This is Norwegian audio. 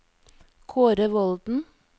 Kaare Volden